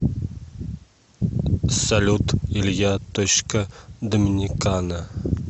салют илья точка доминикана